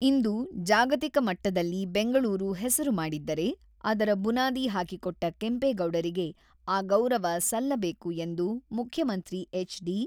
ಇಂದು ಜಾಗತಿಕ ಮಟ್ಟದಲ್ಲಿ ಬೆಂಗಳೂರು ಹೆಸರು ಮಾಡಿದ್ದರೆ, ಅದರ ಬುನಾದಿ ಹಾಕಿಕೊಟ್ಟ ಕೆಂಪೇಗೌಡರಿಗೆ ಆ ಗೌರವ ಸಲ್ಲಬೇಕು ಎಂದು ಮುಖ್ಯಮಂತ್ರಿ ಎಚ್.ಡಿ.